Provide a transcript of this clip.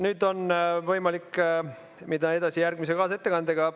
Nüüd on võimalik minna edasi järgmise ettekandega.